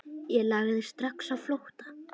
Ég lagði strax á flótta.